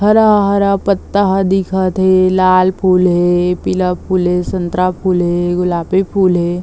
हरा हरा पत्ता दिखत थे लाल फूल हे पीला फूल हे संतरा फूल हे गुलाबी फूल हे।